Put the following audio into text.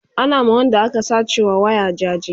Ana ma Wanda aka sace wa waya jaje